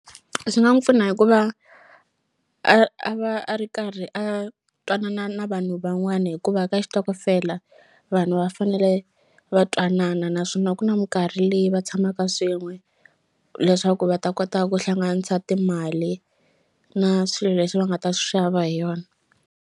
Swi nga n'wu pfuna hikuva a a va a ri karhi a twanana na vanhu van'wani hikuva ka xitokofela vanhu va fanele va twanana naswona ku na minkarhi leyi va tshamaka swin'we leswaku va ta kota ku hlanganisa timali na swilo leswi va nga ta swi xava hi yona.